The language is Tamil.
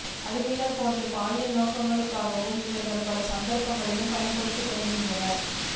அடிமைகள் போன்றும் பாலியல் நோக்கங்களுக்காகவும் இவர்கள் பல சந்தர்ப்பங்களில் பயன்படுத்தப்படுகின்றனர்